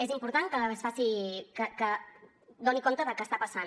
és important que doni compte de què està passant